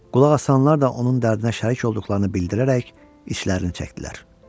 Qulaq asanlar da onun dərdinə şərik olduqlarını bildirərək işlərini çəkdilər.